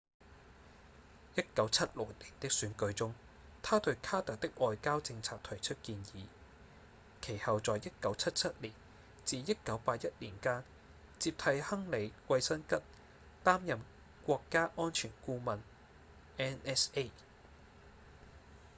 1976年的選舉中他對卡特的外交政策提出建議其後在1977至1981年間接替亨利·季辛吉擔任國家安全顧問 nsa